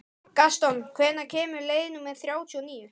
Gaston, hvenær kemur leið númer þrjátíu og níu?